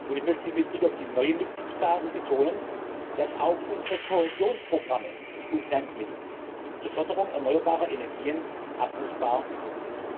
Ich möchte mit Blick auf die neuen Mitgliedstaaten betonen, dass auch unsere Kohäsionsprogramme und Finanzmittel zur Förderung erneuerbarer Energien abrufbar sind.